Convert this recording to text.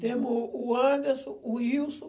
Temos o Anderson, o Wilson.